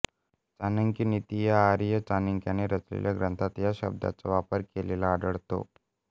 चाणक्यनीति या आर्य चाणक्यानं रचलेल्या ग्रंथात ह्या शब्दांचा वापर केलेला आढळतो